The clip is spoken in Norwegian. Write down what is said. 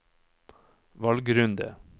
valgrunde